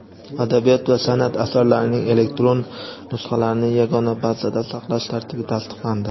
adabiyot va sanʼat asarlarining elektron nusxalarini Yagona bazada saqlash tartibi tasdiqlandi.